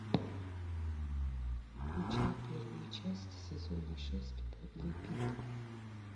включай первую часть сезона шесть подлый пит